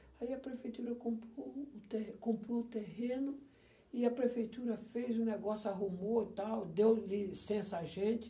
Aí a prefeitura comprou o te comprou terreno e a prefeitura fez o negócio, arrumou e tal, deu licença a gente.